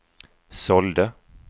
sålde